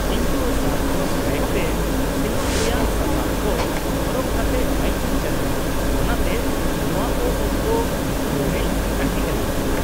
-ᱤᱧ ᱫᱚ ᱥᱟᱨᱠᱷᱚᱱ ᱨᱟᱭᱤᱰ ᱛᱮ ᱥᱮᱱᱚᱜ ᱨᱮᱭᱟᱜ ᱥᱟᱯᱟᱵ ᱠᱚ ᱦᱚᱨᱚᱜ ᱠᱟᱛᱮ ᱵᱟᱭᱤᱠᱤᱧ ᱪᱟᱹᱞᱩᱭᱟ, ᱚᱱᱟᱛᱮ ᱱᱚᱶᱟ ᱠᱚ ᱚᱠᱛᱚ ᱨᱩᱠᱷᱤᱣᱟᱹ ᱨᱤᱧ ᱛᱟᱦᱮᱸ ᱠᱟᱱᱟ ᱾